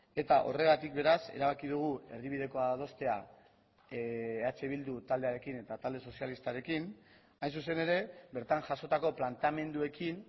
eta horregatik beraz erabaki dugu erdibidekoa adostea eh bildu taldearekin eta talde sozialistarekin hain zuzen ere bertan jasotako planteamenduekin